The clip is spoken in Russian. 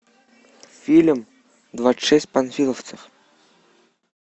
фильм двадцать шесть панфиловцев